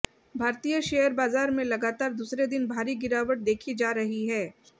भारतीय शेयर बाजार में लगातार दूसरे दिन भारी गिरावट देखी जा रही है